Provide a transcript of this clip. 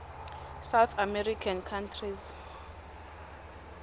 south american countries